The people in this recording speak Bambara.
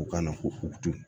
U kana ko futeni